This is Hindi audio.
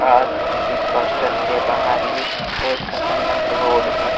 और इस होस्टल के बाहर ही बहुत खतरनाक रोड है |